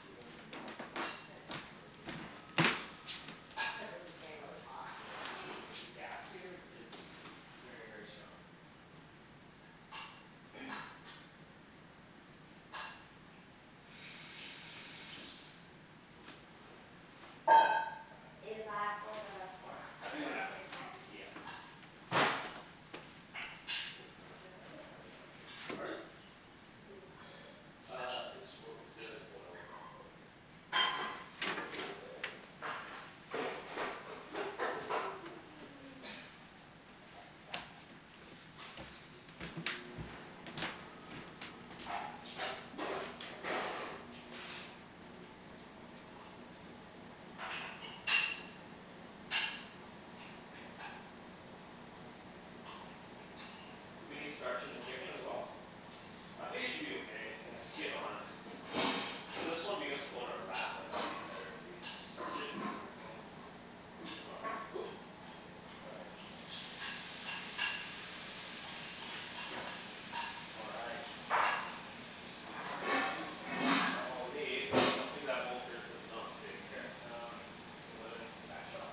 Do you wanna turn it down? How Yeah, do I turn there it down? you go. This is Yeah down? Oh okay. It's cuz this is getting really hot. Yeah. The gas here is very very strong. Is that for the pork, the non-stick pan? Yeah. Yep Do you need some oil in it or you already Pardon? Do you need some oil? Uh, it's oil, there is oil in it already. Do we need starch in the chicken as well? I think it should be okay, it's skin-on. Well, this one because it's going in a wrap I thought it would be better if we starch it? Paper towel. All right, oop! All right, Just gonna dry the lettuce in. now I'll need Oops. something that won't hurt this non-stick. Here, um, it's a wooden spatula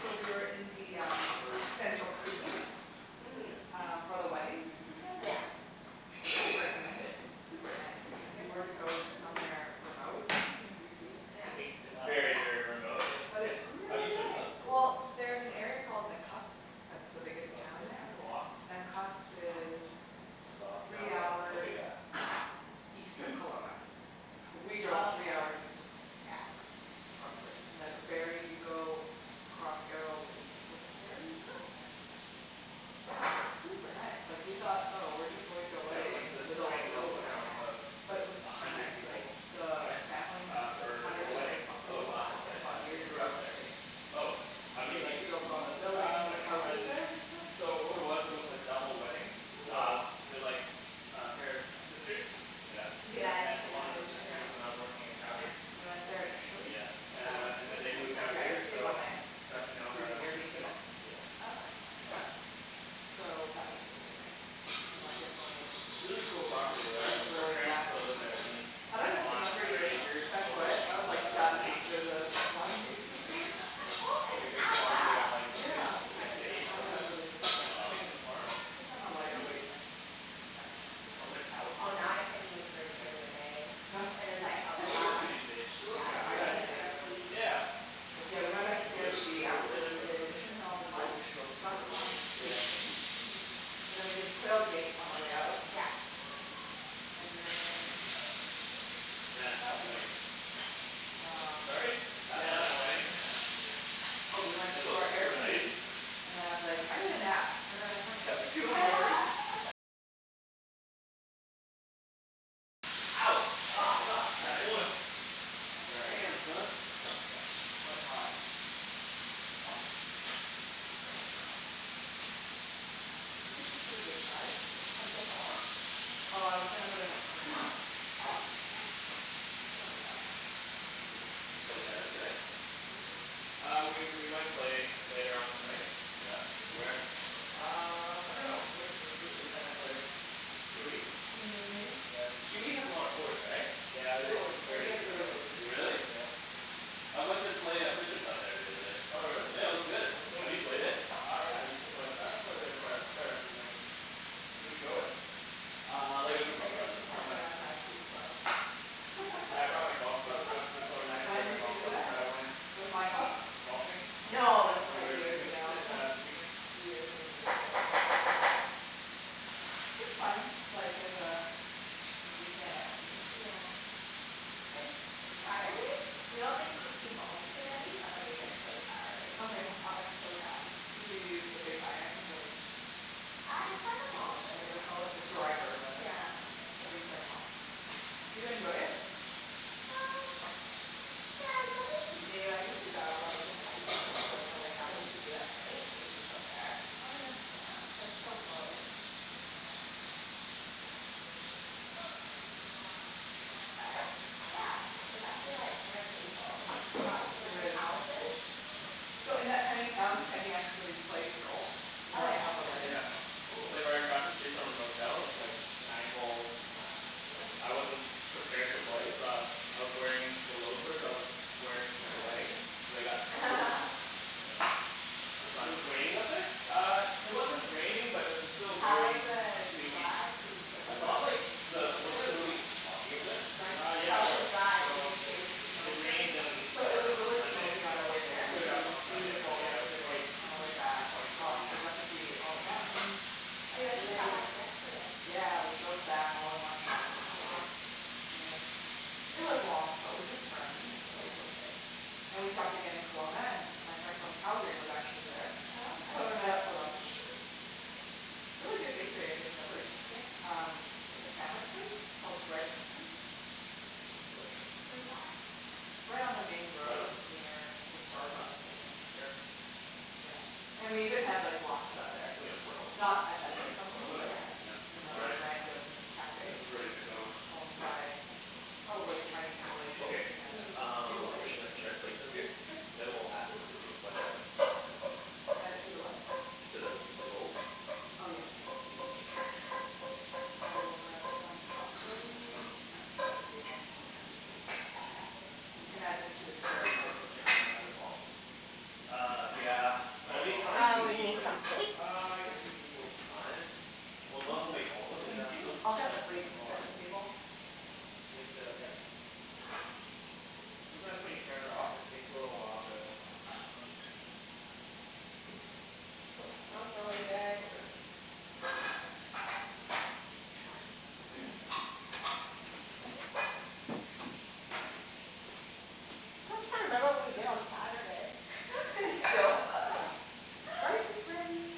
So we were in the um central Kootenays Mhm. Um for the wedding this weekend Yeah. and I really recommend it, it's super nice, if you Where's were to go that Kootenays? somewhere remote in BC. It's very, very remote. Hey, But Ken? it's How do really you turn this nice! up? Well, there's an area called Nakusp, that's the biggest Oh did town it there. go off? Nakusp is It's off, now three it's on. Ok hours yeah. east of Kelowna. We Oh drove three okay. hours east of Kel- Yeah. Kelowna Roughly. And there's a ferry you go across Arrow Lake with the ferry Oh! and then. Yeah, it's super nice. Like we thought oh we're just going to a Yeah, we went wedding to in the this middle of tiny little nowhere. town of But it Yeah. was a so hundred nice, like people. the Why? family has Uh, like a for hundred a wedding. acre Oh property wow, okay. They bought They years grew ago up there. and they, Oh, how do you they meet like these built all the people? buildings, Um, like houses on, there and stuff, so what it was, it really was a cool. double wedding, Cool. so Wow. They're like a pair of sisters Yeah. Did you And I guys met end one up of at the Mission sisters hill? when I was working in Yes, Calgary we went there initially, Yeah. Uh before and then staying they there moved out Yeah, we here stayed Yeah. one so night with, got to know her through other sister, Airbnb. Oh, okay. yeah. So that was really nice. And I definitely Really cool property though drank like her really parents fast. still live there, and it's I dunno if you on a remember hundred your acres I overlooking was like a, a done lake. after the wine tasting tour. Who It's is like a big farm, they got like six, Yeah, it six to eight added horses, up really quickly. I think, on the farm. Wow. I think i'm a lighter weight then. I was like. Oh, now I can't even drink Yeah. during the day. No? And it's like, I'll What's Headache? she up try. to these days, she looks. Yeah. Yeah I got a headache right away. Yeah, but Yeah we she- went back to the Well, they're airbnb super after religious. we did Mission Hill lunch plus the wine tasting, and then we did Quail Gate on our way out. Yeah. And then Man, that wedding. um, what Sorry? did Yeah, the wedding. we do. Oh we went It to looks our super nice. Airbnb, and then I was like I need a nap, and then I passed out for two hours Ouch! Oh Careful. god! That oil. Sorry. Damn, son. It's quite hot. You think this is a good size? Oh I was gonna put in the spring roll. Oh, okay. We don't need that much. Did you play tennis today? Uh we we might play later on tonight. Yeah? Where? Uh, I dunno. Where where should we play tennis later? QE? QE has a lot of courts, right? Yeah. It's always very busy though. Really? Yeah. I went and play uh there the other day. Oh really? Yeah, it was good. Have you played it? Uh yeah, I used to play, I played there quite a, quite a few times. Who'd you go with? Uh, like a I group of played like friends. Oh nice. once. I was too slow. Yeah, I brought my golf clubs, I was, oh well I didn't bring When my did you golf do clubs but that? I went With Michael? um, golfing No, this when was we were like in the years Kootenays ago. s- uh this weekend. Years and years ago. It's fun. Like there's a, a weekend activity. Yeah. Like surprisingly, you don't think sixty balls's too many but it like gets so tiring. Oh yeah? I was like, so done. Did you use the big iron the I tried them The all what pretty do much. you call it, the driver rather. Yeah. Oh you tried em all. Do you enjoy it? Uh, yeah, it's something to do. I used to go like in highschool, like when we had nothing to do at night, we'd just go there. Oh yeah. Yeah, but it's so close. But, yeah. It's actually like kinda painful. I got two of my calluses. So in that tiny town, Kenny actually plays golf In the Oh morning yeah? of the wedding. Yeah, It was Cool! like right across the street from our motel, with like nine holes, and I wasn't prepared to play so I, I was wearing the loafers that I was wearing to the wedding, and they got soaked, yeah, it was It fun. was raining up there? Uh, it wasn't raining but it was still How was very the dewy drive? I and thought wet. of like, the, wasn't it really smoggy up there? Uh yeah it was. So it it rained on So it was uh on really Sunday smoky so, on our way it there cleared But up it was on Hmm. Sunday but beautiful yeah it was quite yesterday on our way back. quite Oh, foggy. we got to see all the mountains, Oh, you guys just got lakes. back yesterday. Yeah, we drove back all in one shot Oh wow. yesterday. Yeah, it was long but we took turns so Yeah. it was okay. And we stopped again in Kelowna and my friend from Calgary was actually there Oh okay. So we met up for lunch. Really good bakery I discovered. Yeah? Um, like a sandwich place, called Bread Company? Delicious. Where's that? Right on the main Try road them? near the Starbucks I think, Here. yeah. And we even had like, Laksa there. Cool! Not at that Mm. Bread That's Company really but good. Yeah, a, all another right. random This cafe is ready to go. owned by probably Chinese Malaysians, Okay, who had a few uh, where Malaysian should I, dishes. should I plate this here? Sure. Then we'll add this to the. Add it to the what? To the, the rolls? Oh yes. I will grab some cutlery, I can set the table as well. Oh we can add this to the Should carrot we put plate. some chicken in that as well? Uh, yeah. Well, we need, how many do we Uh, we need need like, some plates. one two three four five. Well, might as well make all of'em and then just Yeah, keep them, okay. yeah might as well, right? I'll grab the You have plates and to, yeah. set the table. Sometimes when you turn it off it takes a little while to come back on. It smells really good. Okay. I still can't remember what we did on Saturday. Still? Rice is ready!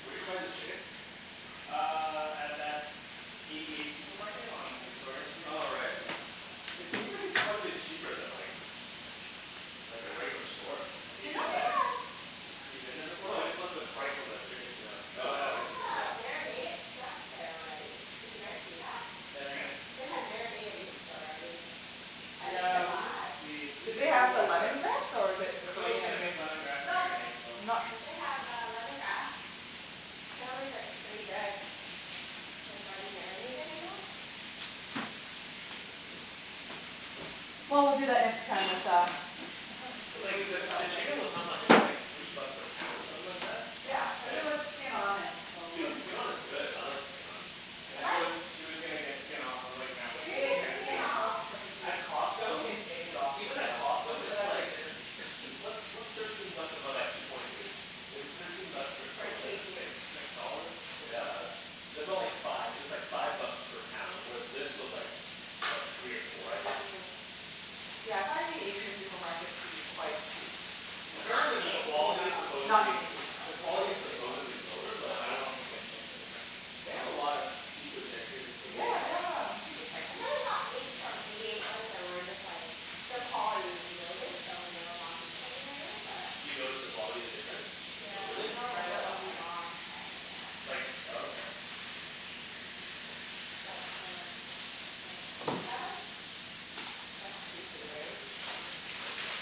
Where d'you buy the chicken? Uh, at that Eighty eight supermarket on Victoria street. Oh right yeah. It seems like it's quite a bit cheaper than like, like a regular store. Have you You know been they have there? You've been there before? No, I just looked at the price on the chickens, yeah. They No, I haven't. have uh marinated stuff there already. Did you guys see that? Say that again? They have marinated meats already, that you Yeah, can we did buy. see, we Did did they see have the that lemongrass or but the But Phil's gonna Korean. make lemongrass No, marinade so. they have uh lemongrass. Apparently it's like pretty good. Well, we'll do that next time with uh. The, the chicken was how much, it was like three bucks a pound or something like that? Yeah, cuz it was skin-on and bone in. But skin-on is good, I like skin-on. You She guys was, she was gonna get skin off, I was like, "No.". You were gonna get skin off? At You Costco can take it off Even at yourself. Costco That's what it's I like, figured what's what's thirteen bucks divided by two point two? It was thirteen bucks per Per kilogram. It's like kg? six dollars? Six Yeah. something? It's aboutt like five, it was like five bucks per pound. With this was like, like three or four, I think? Mm Yeah I find the Asian supermarkets to be quite cheap. Not Apparently the, the T&T quality is though. supposedly, the quality is supposedly lower No, but I I don't don't think it'd make a difference. They have a lot of seafood there too. Eighty eight? Yeah, they have um, seafood tanks. I think we only got meat from Eighty eight once and we were just like, the quality we noticed, so we never bought meat from there again but. You noticed the quality is different? Yeah, Hm, we Really? I can don't try it remember out this what we time. bought, but yeah. Like, oh okay. But um, yeah. They have like, fresh seafood, right? It's pretty good.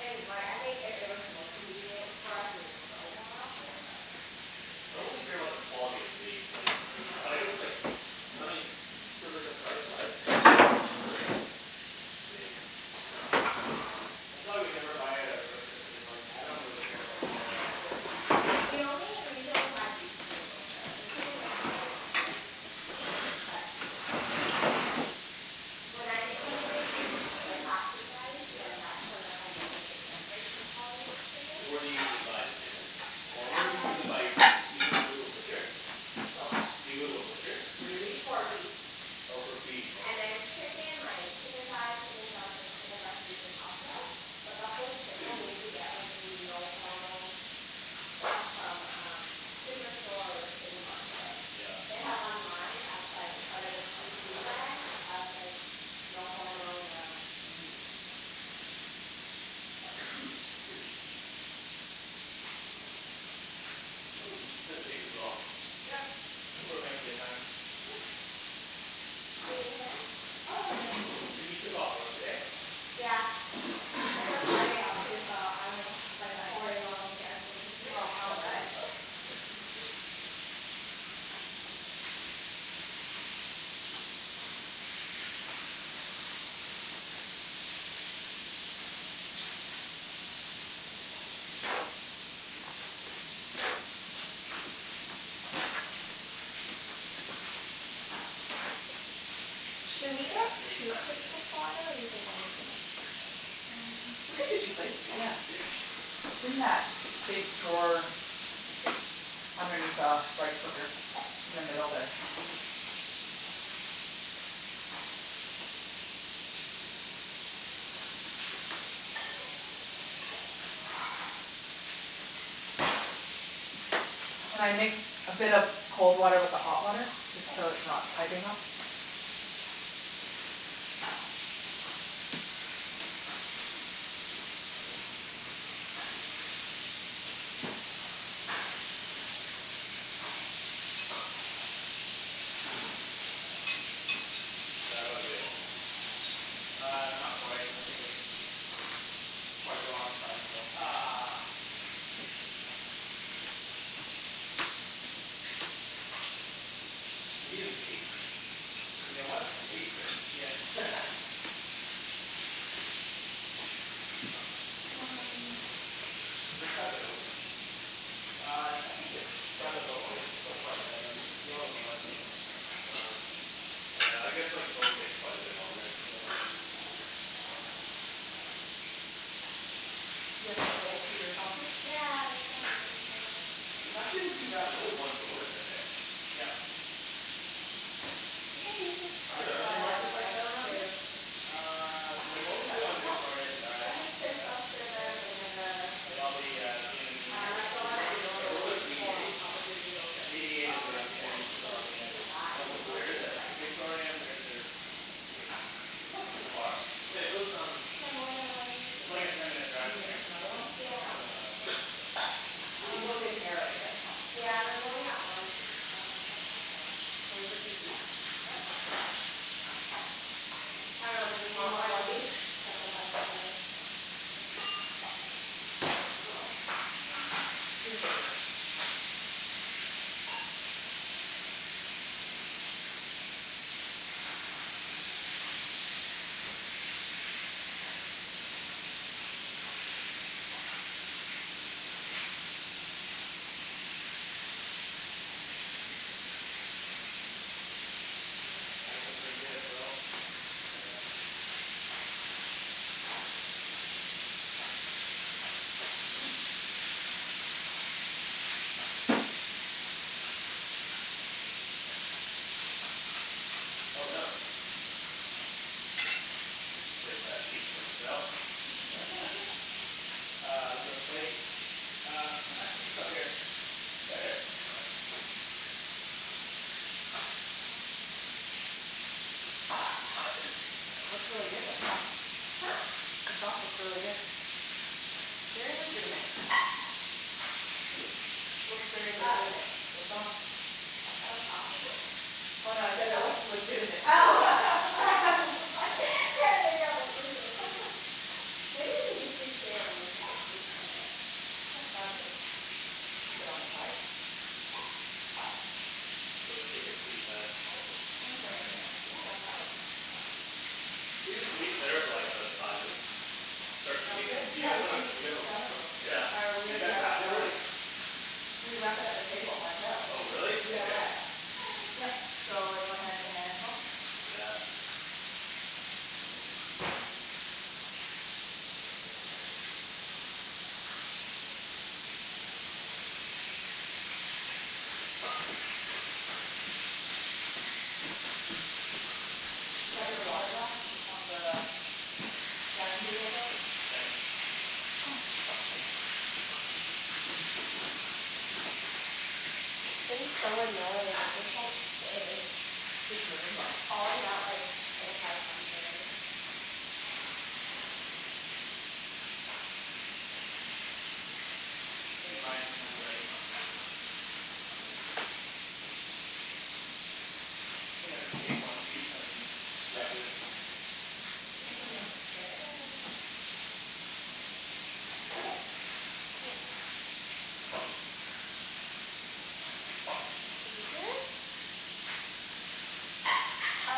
And like, I think if it was more convenient for us we would go more often but. I don't really care about the quality of the meat, like. You don't? But I guess like, I mean, cuz like the price-wise, if it's a lot cheaper then, I mean That's why we never buy it at a Yeah. butcher, cuz like I don't really care about the quality either. We only, we usually only buy beef from the butcher, the chicken doesn't make a big difference, but when I make like then that's when like I notice the difference in quality of chickens. Where do you usually buy the chicken? Or where do you usually Um. buy your good meat, you go, go to a butcher? For what. Do you go to a butcher for your meat? For beef. Oh for beef, And okay. then chicken like, chicken thighs, chicken drumsticks, chicken breast usually Costco. But buffalo chicken we usually get like the no hormone stuff from um Superstore or City Market. They Yeah. have one line that's like part of the PC brand that's like no hormone um, so. This doesn't, didn't take too long. Yeah, think we're making good time. Do you need a hand? Oh no I'm good. Okay. So you took off work today? Yeah, I took Friday off, too, so I don't have to bike Nice. four day long weekend for me. Should we get Yeah, baste two that chicken. plates of water or do you think one is enough? Hm we could do two plates, You yeah. can baste It's in that big drawer, just underneath the rice cooker, in the middle there. And I mix a bit of cold water with the hot water? Just K. so it's not piping hot. Is that about good? Uh, not quite. I think it's quite raw inside so Ugh. We need an apron. You need a what? Apron. Yeah. Do I cut it open? Uh I, I think it's, by the bone it's still quite red, like you can see all the blood still coming out. Oh, oh yeah, I guess like bones take quite a bit longer. Yeah You have? Yeah, that's what this is It's for. actually not too bad, there's only one bone in there. heh? Yep. We can use this for Are there other the markets like rice that around here? too. Uh, they're What is mostly that, fish on sauce? Victoria Drive. I did fish Yeah. sauce, Yeah, sugar, vinegar. like all the uh Vietnamese Um like the one that you supermarkets are Wait, over normally there. what's Eighty pour eight? on top of the noodles or Eighty eight anything. is Oh a okay, Yeah, cool. Vietnamese so we supermarket, can serve yeah. that Yeah, if where you want, where is for it? the rice. Victoria and thirty third. Hm. That's like too far. Wait those um. Can I have more than one? It's like a ten minute Do drive you from need here. another one? Yeah, It's really not that far. there's um. You looked in here already right? Yeah there's only that one. Um, all right. Can we just use these? What? I dunno. Do we Do you want want one one each? each? That's what I was Um, yeah. wondering. We can go over there. Looking pretty good, Phil. Yeah. Oh no. Save that feet for myself Uh, there's a plate. Uh, actually just up here. Here? Yeah. Looks really good, the sauce. Huh? The sauce looks really good. They're legitimate. Hm? Looks very legitimate, the Oh. sauce. What sauce is Oh it? no I said it looks legitimate. Oh. I'm so sorry, can't make out what you're saying. Maybe you can just leave two and then we can scoop from it. Yeah, sounds good. Keep it on the side? Yep. take your sweet time. Thanks for making that. Yeah, no problem. Do we just leave it there for like another five minutes? Start Um eating? good, You yeah guys we wanna, can do make you guys the wanna salad rolls. Yeah. Oh, we Did you already guys have it wrap it set up. already? We wrapped it up, the table, ourselves. Oh really? Okay. DIY. Yup so, everyone has their hands washed? Yeah. Is that your water glass on the dining table still? Thanks. This thing's so annoying. It just won't stay. It's Falling out like four, five times already. I think mine might be ready. I think I'll take one piece and cut it through. Ooh, that looks good. Is it? Um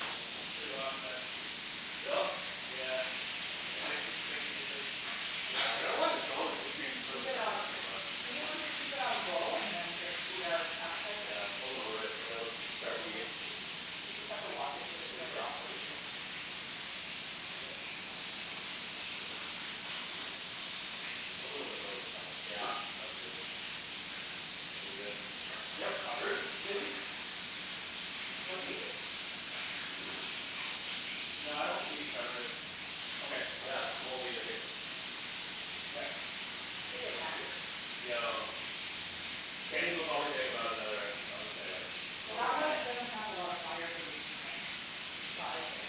Nope, pretty raw inside. Still? Yeah Damn. Yeah, I dunno why the bone would You increase can the keep cooking it time on, by so much. do you think we should keep it on low and then just eat our appetizers? Yeah, we'll lower it and then we'll start eating You just have to watch it cuz it turns off really easily. I can do it. A little bit low is fine. Yeah, that's good. Just leave it. Do you have covers, maybe? What do you need? No, I don't think we need to cover it. Okay, yeah. I will leave it here. Okay. Is it done? No. Kenny's will probably take about another, I would say like Well, that one doesn't have a lot of fire cuz it's in the side there.